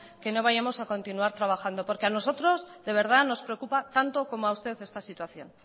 que no vayamos a continuar trabajando porque a nosotros de verdad nos preocupa tanto como a usted esta situación